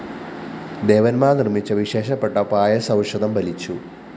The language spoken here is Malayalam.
ദേവന്മാര്‍ നിര്‍മ്മിച്ച വിശേഷപ്പെട്ട പായസൗഷധം ഫലിച്ചു